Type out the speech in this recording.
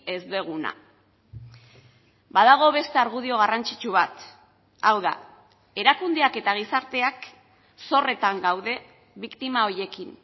ez duguna badago beste argudio garrantzitsu bat hau da erakundeak eta gizarteak zorretan gaude biktima horiekin